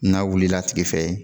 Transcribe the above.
N'a wulila a tigi fɛ ye